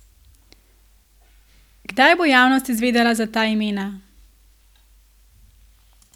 Kdaj bo javnost izvedela za ta imena?